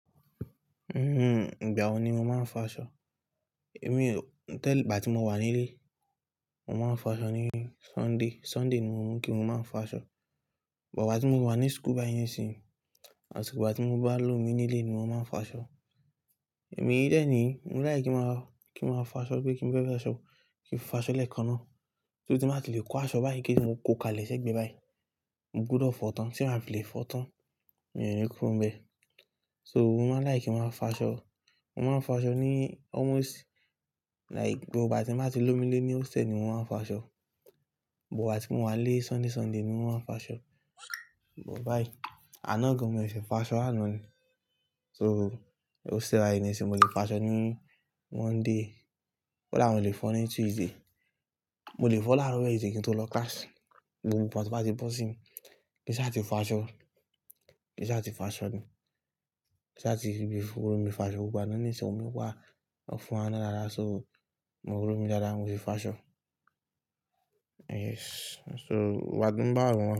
Ìgbà wo ni mo máa ń fọ aṣọ? Èmi, tẹ́lẹ̀ ìgbà tí mo wà nílé, mo máa ń fọ aṣọ ní Sunday. Sunday ni mo mọ̀ pé mo máa ń fọ aṣọ. But ìgbà tí mo wà ní school báyìí ni isìnyi, àti ìgbà tí mo bá lómi nílé ni mo máa ń fọ aṣọ. Èmi lẹ́ẹ̀ni, mo láì kí máa, kí máa fọ aṣọ, bí kí n fẹ́ fọ aṣọ, kí n fọ aṣọ lẹ́ẹ̀kan náà. So ti báa ti lè kó aṣọ báyìí kí n lè kó kalẹ̀ ṣẹ́gbẹ́ báyìí. Mo gbúdọ̀ fọ tán tí màá fi lè fọ tán. Mi ò ní kúrú bẹ. So mo máa láì kí máa fọ aṣọ. Mo máa ń fọ aṣọ ní almost like gbogbo ìgbà tí mo bá ti lómi ní hostel ni mo máa ń fọ aṣọ. But ìgbà tí mo wà nílé Sunday, Sunday ni mo máa ń fọ aṣọ. But báyìí, anó gan mo sese fọ aṣọ àná ni. So ni hostel way ni ṣe mo lè fọ aṣọ ní Monday. Ko dàá mó ti lè fọ ní Tuesday. Mo lè fọ láàárọ̀ Wednesday kí n tó lọ class. Gbogbo ìgbà tí mo bá ti bọ́ sí, kí ṣá ti fọ aṣọ, kí ṣá ti fọ aṣọ ni. Kí ṣá ti, rí ibi firi omí fọ aṣọ gbogbo àná ní ìṣẹ́, òun yóò wá ó fún wa dáadáa. So mo rọmí dáadáa, mo le fọ aṣọ. Yes. So wàá dúró bá ọmọ.